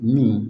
Mun